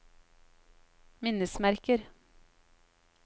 minnesmerker